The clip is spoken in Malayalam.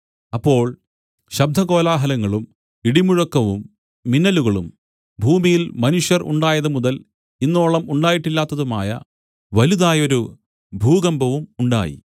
അപ്പോൾ ശബ്ദകോലാഹലങ്ങളും ഇടിമുഴക്കവും മിന്നലുകളും ഭൂമിയിൽ മനുഷ്യർ ഉണ്ടായതുമുതൽ ഇന്നോളം ഉണ്ടായിട്ടില്ലാത്തതുമായ വലുതായൊരു ഭൂകമ്പവും ഉണ്ടായി